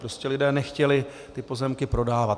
Prostě lidé nechtěli ty pozemky prodávat.